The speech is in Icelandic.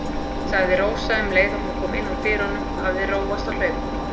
sagði Rósa um leið og hún kom inn úr dyrunum og hafði róast á hlaupunum.